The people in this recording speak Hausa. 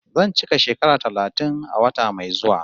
Zan cika shekara talatin a wata mai zuwa